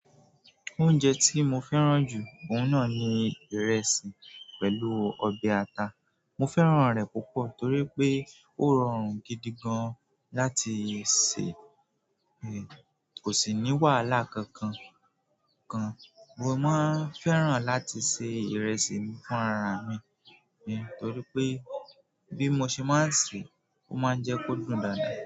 Oúnjẹ tí mo fẹ́ràn jù, òun náà ni ìrẹsì pẹ̀lú ọbẹ̀ ata. Mo fẹ́ràn re púpọ̀ torí pe o rọrùn gidi gan láti se, ko si ni wàhálà kankan kan. Mo máa ń fẹ́ràn láti se ìrẹsì fún ara mi torí pé bí mo ṣe máa ń sè é, ó máa ń jẹ́ kó dùn dáadáa.